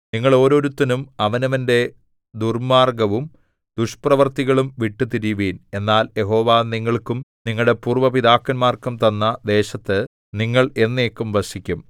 നിങ്ങൾ ഓരോരുത്തനും അവനവന്റെ ദുർമ്മാർഗ്ഗവും ദുഷ്പ്രവൃത്തികളും വിട്ടുതിരിയുവിൻ എന്നാൽ യഹോവ നിങ്ങൾക്കും നിങ്ങളുടെ പൂര്‍വ്വ പിതാക്കന്മാർക്കും തന്ന ദേശത്ത് നിങ്ങൾ എന്നേക്കും വസിക്കും